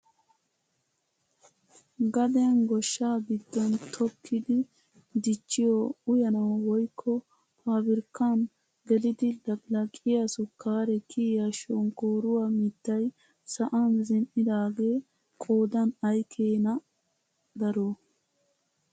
Gaden goshshaa giddon tokkidi dichchiyoo uyanawu woykko pabirkkaan gelidi laqilaqiyaa sukaare kiyiyaa shonkkoruwaa miittay sa'an zin"idaagee qoodan ayi keene daro!